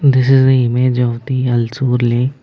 This is the image of the ulsoor lake.